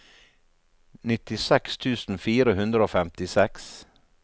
nittiseks tusen fire hundre og femtiseks